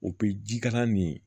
O pekalan nin ye